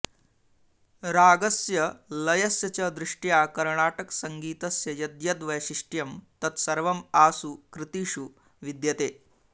रागस्य लयस्य च दृष्ट्या कर्णाटकसङ्गीतस्य यद्यद् वैशिष्ट्यं तत् सर्वम् आसु कृतिषु विद्यते